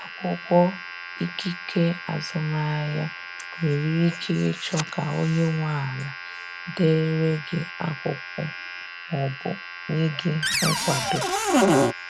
Akwụkwọ ikike azụmahịa, nwere ike ịchọ ka onye nwe ala dere gị akwụkwọ ma ọ bụ nye gị nkwado.